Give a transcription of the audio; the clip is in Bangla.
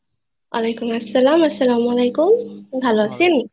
ওয়ালাই কুমুস সালাম আসসালামু আলাইকুম ভালো আছেন